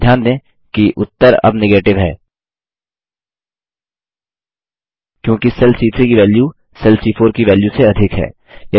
ध्यान दें कि उत्तर अब नेगेटिव है क्योंकि सेल सी3 की वैल्यू सेल सी4 की वैल्य से अधिक है